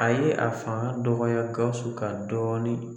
A ye a fanga dɔgɔya Gawusu kan dɔɔnin.